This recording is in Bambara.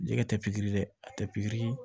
Jɛgɛ tɛ pikiri la a tɛ pkiri